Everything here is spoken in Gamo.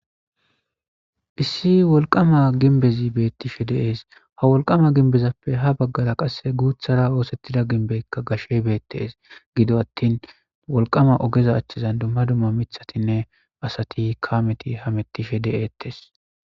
Issi wolqama ginbezi bettishe de'es. Ha wolqama ginbezappe ha bagara guthara othitida ginbeyka gashey Bette's. Gido atin wolqama ogezan dumma dumma mithattinne asat, kameti hametishe de'etes.